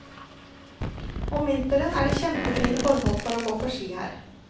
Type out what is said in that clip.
Om vinteren er det kjempefine forhold for å gå på ski her.